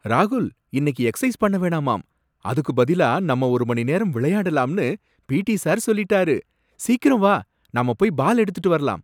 ராகுல்! இன்னைக்கு எக்சசைஸ் பண்ணவேணாமாம், அதுக்கு பதிலா நம்ம ஒரு மணி நேரம் விளையாடலாம்னு பி. டி. சார் சொல்லிட்டாரு. சீக்கிரம் வா, நம்ம போய் பால் எடுத்துட்டு வரலாம்.